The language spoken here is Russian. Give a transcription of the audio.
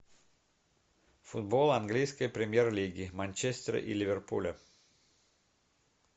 футбол английской премьер лиги манчестер и ливерпуля